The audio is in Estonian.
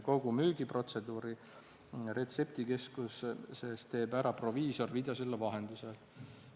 Kogu müügiprotseduuri retseptikeskuses teeb ära proviisor videosilla vahendusel.